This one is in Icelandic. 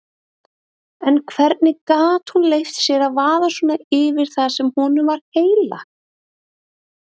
En hvernig gat hún leyft sér að vaða svona yfir það sem honum var heilagt?